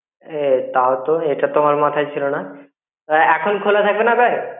এ তাও তো এটা তো আমার মাথায় ছিলো না. এখন খোলা থাকবে না bank?